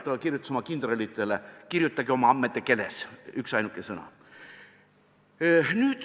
Ta kirjutas oma kindralitele: "Kirjutage oma ammede keeles.